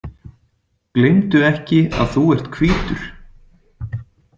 Gleymdu ekki að þú ert hvítur.